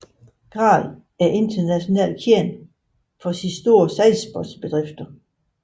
Grael er internationalt kendt for sine store sejlsportsbedrifter